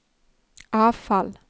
avfall